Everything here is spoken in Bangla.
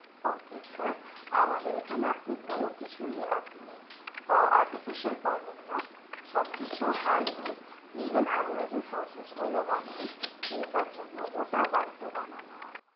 ok sir আমাদের এখানে আপনি কোনো কিছুই আপনি artificial পাবেন না সব কিছুই hand made event যে shocked গুলো বানাই pizza এর জন্য ওটাও বাড়িতে বানানো হয়